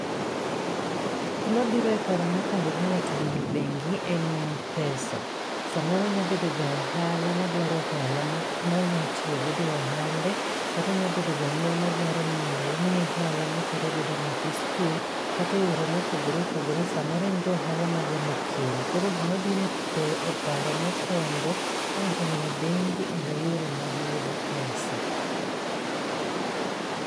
Gima biro e paro mokwongo ka ngáto oneno bengi en pesa. Samoro nya bedo ja ohala madwaro hola ma onyalo tiyo godo e ohande, kata nyalo bedo janyuol ma dwaro ni mondo omiye hola ma otero godo nyathi sikul, kata e yore mopogore opogore. Samoro en ja ohala ma dwaro ni oken. Koro gima biro e e paro mokwongo ka ngáto oneno bengi e yore mag yudo pesa.